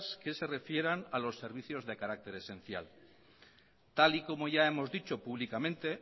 que se refieran a los servicios de carácter esencial tal y como ya hemos dicho públicamente